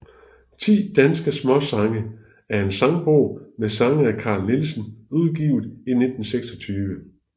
Ti danske Smaasange er en sangbog med sange af Carl Nielsen udgivet i 1926